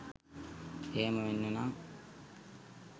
එහෙම වෙන්න නං